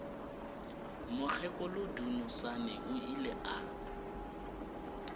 mokgekolo dunusani o ile a